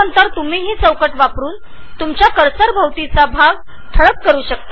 तुम्ही तुमच्या कर्सरच्या आजूबाजूचा भाग हा बॉक्स वापरुन ठळक करु शकता